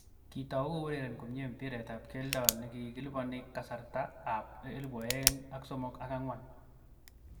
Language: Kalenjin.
Kitau koureren komnye mbiret ab keldo nekiliponi kasarta ab 2003/04.